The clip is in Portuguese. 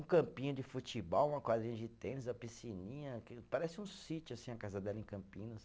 Um campinho de futebol, uma quadrinha de tênis, uma piscininha que, parece um sítio assim a casa dela em Campinas.